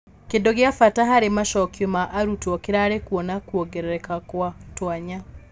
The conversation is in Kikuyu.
Kĩndũ gĩa bata harĩ macokio ma arutwo kĩrarĩ kuona kuongereka gwa tũanya.